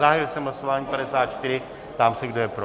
Zahájil jsem hlasování 54, ptám se, kdo je pro.